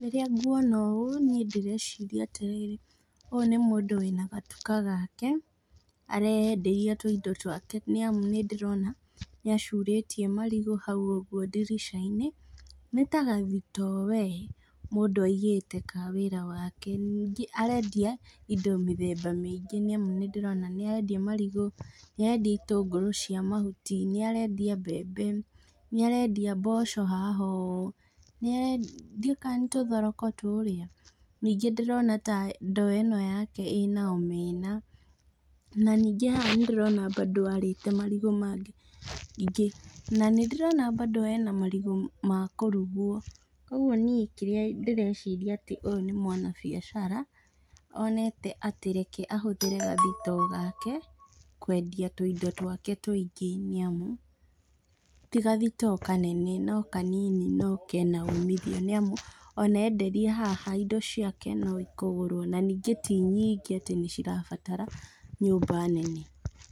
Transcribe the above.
Rĩrĩa ngwona ũũ niĩ ndĩreciria atĩrĩrĩ, ũyũ nĩ mũndũ wĩna gatuka gake, areyenderia tũindo twake nĩ amu nĩ ndĩrona nĩ acurĩtie marigo hau ũguo ndirisha-inĩ, nĩ ya gathito we, mũndũ aigĩte ka wĩra wake, ningĩ arendia indo mĩthemba mĩingĩ, nĩ ndĩrona nĩ arendia marigo, ni arendia itũngũrũ cia mahuti, nĩ arendia mbembe, nĩ arendia mboco haha ũũ, nĩ are.. ndiũĩ kana nĩ tũthoroko tũrĩa, ningĩ ndĩrona ta ndoo ĩno yake ĩna omena, na ningĩ haha nĩ ndĩrona bado arĩte marigo mangĩ, ningĩ nĩ ndĩrona bado hena marigo makũruguo, kwoguo kĩrĩa niĩ ndĩreciria nĩ atĩ nĩ mwana-biacara, onete atĩ reke ahũthĩre gathito gake kwendia tũindo twake tũingĩ, nĩ amu tigathitoo kanene no kanini no kena umithio, nĩ amu ona enderia haha indo ciake no ikũgũrwo ningĩ ti nyingĩ atĩ nĩ irabatara nyũmba nene.